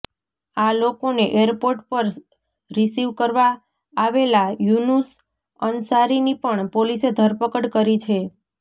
આ લોકોને એરપોર્ટ પર રિસિવ કરવા આવેલા યુનુસ અનસારીની પણ પોલીસે ધરપકડ કરી છે